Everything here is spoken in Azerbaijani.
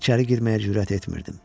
İçəri girməyə cürət etmirdim.